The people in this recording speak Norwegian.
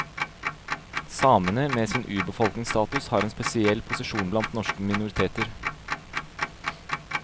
Samene, med sin urbefolkningsstatus, har en helt spesiell posisjon blant norske minoriteter.